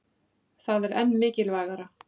Þetta er enn mikilvægara